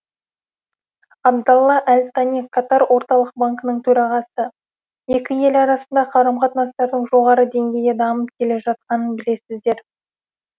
абдалла әл тани катар орталық банкінің төрағасы екі ел арасындағы қарым қатынастардың жоғары деңгейде дамып келе жатқанын білесіздер